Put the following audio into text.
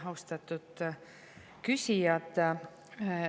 Austatud küsijad!